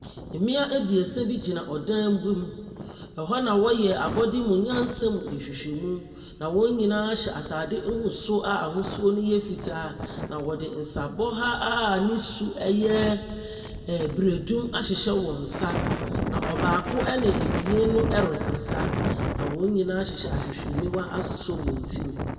Mmea abiesa bi ɛgyina ɔdan bi mu, ɛhɔ na wɔyɛ abɔde mu nyansa mu nhwehwɛmu. Na wɔn nyinaa ataade nguso a n’ahosu no yɛ fitaa, na wɔde nsabɔha a ne su ɛyɛ biredum ahyehyɛ wɔn ns. Na ɔbaako ɛne mmienu no rekasa. Na wɔn nyinaa hyɛ ahwehwɛniwa asosɔ ti mu.